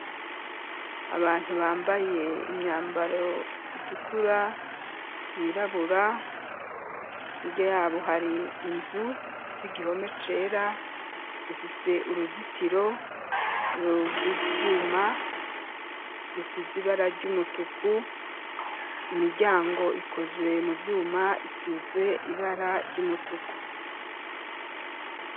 Abantu, bambaye imyambaro itukura, yirabura, hirya y'abo, hari inzu ifise igihome cera, ifise uruzitiro rw'ivyuma, bisize ibara ry'umutuku; imiryango ikozwe mu vyuma, isizwe ibara ry'umutuku.